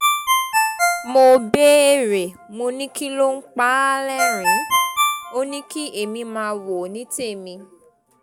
mo béèrè mo ní kí ló ń pa á lẹ́rìn-ín ò ní kí èmi máa wò ní tèmi